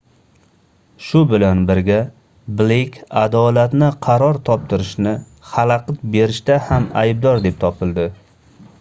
shu bilan birga bleyk adolatni qaror toptirishni xalaqit berishda ham aybdor deb topildi